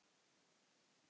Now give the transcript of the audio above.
Ég er farin.